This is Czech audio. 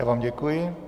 Já vám děkuji.